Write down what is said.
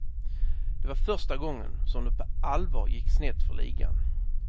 Det var första gången som det på allvar gick snett för ligan.